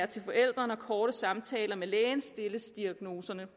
til forældrene og korte samtaler med lægen stilles diagnoserne